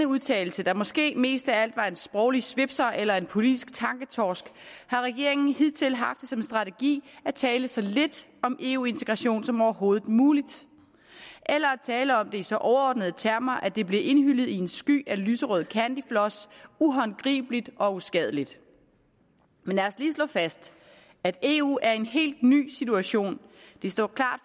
udtalelse der måske mest af alt var en sproglig svipser eller en politisk tanketorsk har regeringen hidtil haft som strategi at tale sig lidt om eu integration som overhovedet muligt eller at tale om det i så overordnede termer at det bliver indhyllet i en sky af lyserød candyfloss uhåndgribeligt og uskadeligt men lad os lige slå fast at eu er i en helt ny situation det står klart